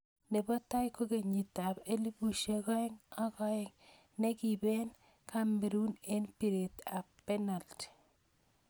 Nebo tai ko kenyit ab 2002 nekiiben Cameroon eng piret ab penalti